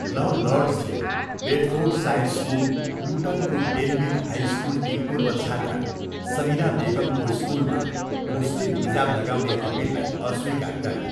ल लर्ड्सले बेडफोर्डसायर्सको लुटनको डेनबिग हाई स्कुलकी पूर्व छात्रा सबिना बेगमको स्कुलमा मुस्लिम हिजाब लगाउने अपिललाई अस्वीकार गरे।